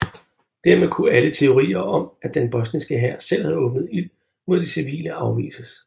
Dermed kunne alle teorier om at den bosniske hær selv havde åbnet ild mod de civile afvises